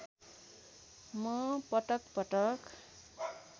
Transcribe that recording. म पटकपटक